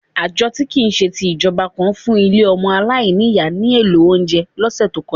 Ààjọ-tí-kìí-ṣe-ti-ìjọba kan fún ilé ọmọ aláìní ìyá ní èlò oúnjẹ lọ́sẹ̀ tó kọjá.